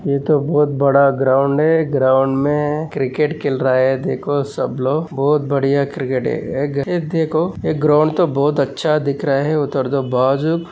ये तो बहुत बड़ा ग्राउंड है ग्राउंड मे क्रिकेट खेल रहा है देखो सब लोग बहुत बड़िया क्रिकेट है ये देखो ये ग्राउंड तो बहुत आच्छा दिख रहा है उधर तो बाजु --